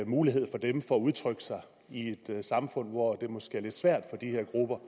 mulighed for dem for at udtrykke sig i et samfund hvor det måske er lidt svært for de her grupper